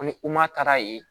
Ni taara yen